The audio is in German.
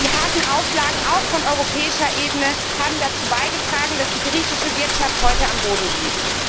Die harten Auflagen auch von europäischer Ebene haben dazu beigetragen, dass die griechische Wirtschaft heute am Boden liegt.